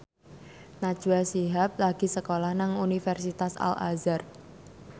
Najwa Shihab lagi sekolah nang Universitas Al Azhar